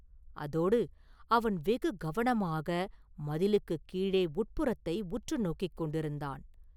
அதோடு, அவன் வெகு கவனமாக மதிலுக்குக் கீழே உட்புறத்தை உற்று நோக்கிக் கொண்டிருந்தான்.